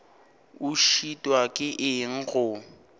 o šitwa ke eng go